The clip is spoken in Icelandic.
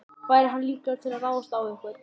Væri hann líklegur til að ráðast á einhvern?